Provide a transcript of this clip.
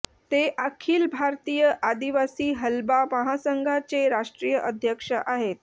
ते अखिल भारतीय आदिवासी हलबा महासंघाचे राष्ट्रीय अध्यक्ष आहेत